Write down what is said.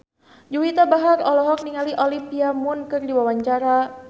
Juwita Bahar olohok ningali Olivia Munn keur diwawancara